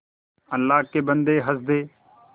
अल्लाह के बन्दे हंस दे